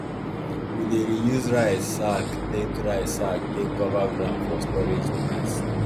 we dey reuse rice sack take rice sack take cover ground for storage place